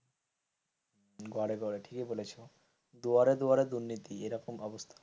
ঘরে ঘরে ঠিকই বলেছ দুয়ারে দুয়ারে দুর্নীতি এরকম অবস্থা,